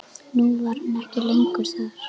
Nú var hann ekki lengur þar.